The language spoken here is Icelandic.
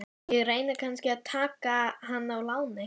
Ég reyni kannski að taka hann á láni?